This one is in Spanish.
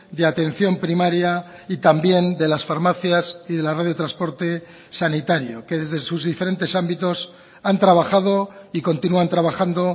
de atención primaria y también de las farmacias y de la red de transporte sanitario que desde sus diferentes ámbitos han trabajado y continúan trabajando